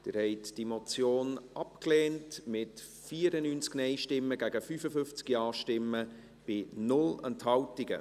Sie haben diese Motion abgelehnt, mit 94 Nein- gegen 55 Ja-Stimmen bei 0 Enthaltungen.